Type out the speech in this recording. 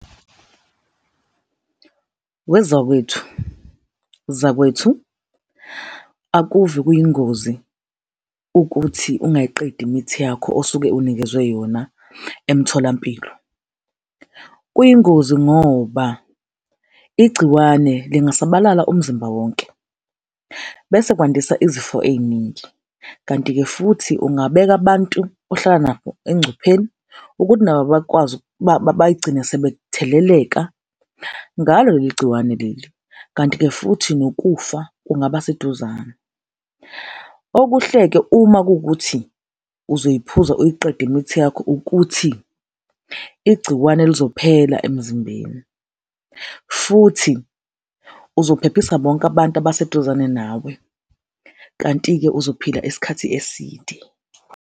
Wezakwethu, zakwethu, akuve kuyingozi ukuthi ungayiqedi imithi yakho osuke unikezwe yona emtholampilo. Kuyingozi ngoba igciwane lingasabalala umzimba wonke bese kwandisa izifo ey'ningi, kanti-ke futhi ungabeka abantu ohlala nabo engcupheni ukuthi nabo bakwazi bayigcine sebetheleleka ngalo leli gciwane leli, kanti-ke futhi nokufa kungaba seduzane. Okuhle-ke, uma kuwukuthi uzoyiphuza uyiqede imithi yakho ukuthi igciwane lizophela emzimbeni futhi uzophephisa bonke abantu abaseduzane nawe, kanti-ke uzophila esikhathi eside.